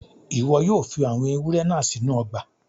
Ìwo yio fi àwon ewúrẹ́ náà sínú ogbà